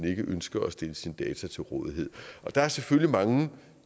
ønsker at stille sine data til rådighed der er selvfølgelig mange